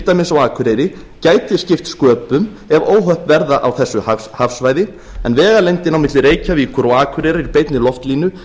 dæmis á akureyri gæti skipt sköpum ef óhöpp verða á þessu hafsvæði en vegalengdin á milli reykjavíkur og akureyrar í beinni loftlínu